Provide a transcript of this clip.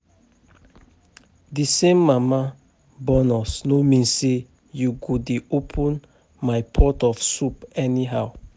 The same mama born us no mean say you go dey open my pot of soup anyhow